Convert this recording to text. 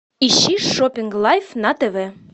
ищи шопинг лайф на тв